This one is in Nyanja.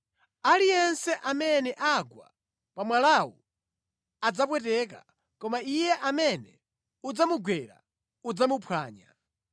Aliyense amene agwa pa mwalawu adzapweteka, koma iye amene udzamugwera udzamuphwanya.’ ”